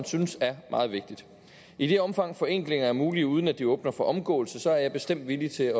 synes er meget vigtigt i det omfang forenklinger er mulige uden at de åbner for omgåelse er jeg bestemt villig til